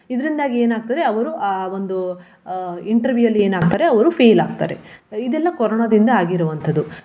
ಇದರಿಂದಾಗಿ ಏನಾಗ್ತದೆ ಅವರು ಆ ಒಂದು ಅಹ್ interview ಅಲ್ಲಿ ಏನಾಗ್ತಾರೆ ಅವರು fail ಆಗ್ತಾರೆ. ಇದೆಲ್ಲ ಕೊರೋನಾದಿಂದ ಆಗಿರುವಂತದ್ದು.